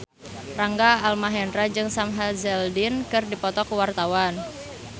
Rangga Almahendra jeung Sam Hazeldine keur dipoto ku wartawan